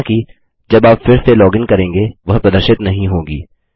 हालाँकि जब आप फिर से लॉगिन करेंगे वह प्रदर्शित नहीं होगी